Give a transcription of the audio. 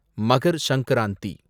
Magar Sankranti